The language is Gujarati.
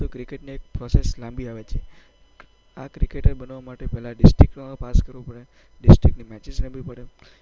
ક્રિકેટની પ્રોસેસ લાંબી આવે છે. સારા ક્રિકેટર રમવા માટે ડિસ્ટ્રિક્ટ લેવલ પાસ કરવું પડે, ડિસ્ટ્રિક્ટની મેચો રમવી પડે,